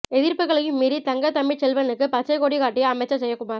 எதிர்ப்புகளையும் மீறி தங்கதமிழ்ச் செல்வனுக்கு பச்சைக் கொடி காட்டிய அமைச்சர் ஜெயக்குமார்